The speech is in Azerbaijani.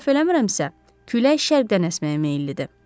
Əgər səhv eləmirəmsə, külək şərqdən əsməyə meyillidir.